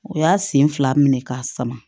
O y'a sen fila minɛ k'a sama